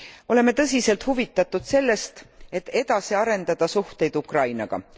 Oleme tõsiselt huvitatud sellest, et edasi arendada suhteid Ukrainaga.